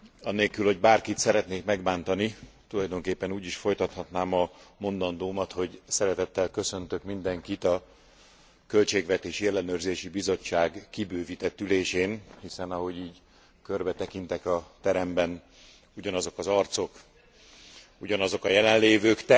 Anélkül, hogy bárkit szeretnék megbántani, tulajdonképpen úgy is folytathatnám a mondandómat, hogy szeretettel köszöntök mindenkit a Költségvetési Ellenőrző Bizottság kibővített ülésén, hiszen, ahogy így körbetekintek a teremben, ugyanazok az arcok, ugyanazok a jelenlévők.